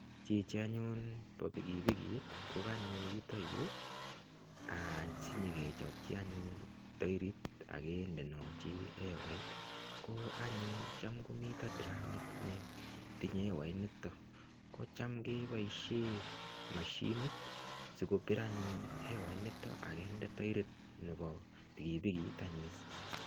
Chichi anyun bo pikipikit ko kanyo yutok yu any sinyekechopchi anyun toerit ak kindenochi ewait. Ko anyun cham komi tiramit netinye ewait nito kocham keboisie mashinit sikopir anyun ewait nito ak kinde taerit nebo pikipikit anyun.